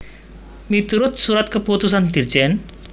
Miturut Surat Keputusan Dirjen